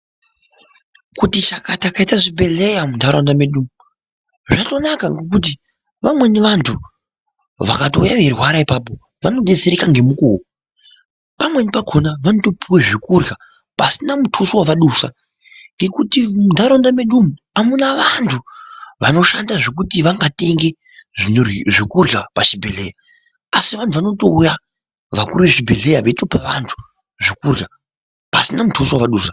Kuti chakata kwaite zvibhedhleya muntaraunda medu umu zvatonaka ngekuti vamweni vantu vakatouya veirwara ipapo vanodetsereka ngemukuwo. Pamweni pakona vanotopuwa zvekurya pasina mutuso wavadusa. Ngekuti muntaraunda mwedu umu amuna vantu vanoshanda zvekuti vangatenge zvekurya pachibhedhleya. Asi vantu vanotouya vakuru vezvibhedhleya veitope vantu zvekurya pasina mutso wevadusa.